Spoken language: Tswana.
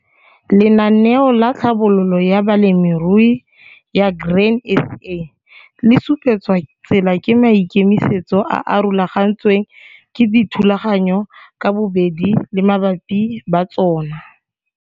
Lenaneo la Tlhabololo ya Balemirui ya Grain SA le supetswa tsela ke maikemisetso a a rulagantsweng ke dithulaganyo ka bobedi le baabi ba tsona.